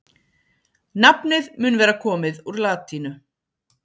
nafnið mun vera komið úr latínu